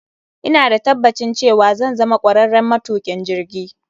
Ina da tabbacin cewa zan zama kwararren matukin jirgi.